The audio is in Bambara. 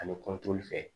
Ani kɔntoli fɛ